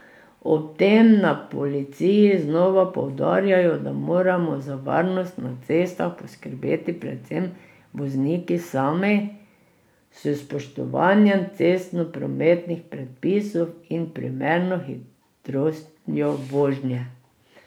Ob tem na policiji znova poudarjajo, da moramo za varnost na cestah poskrbeti predvsem vozniki sami, s spoštovanjem cestnoprometnih predpisov in primerno hitrostjo vožnje.